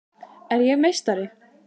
Er ég meistari?